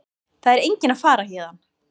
Það er enginn að fara héðan.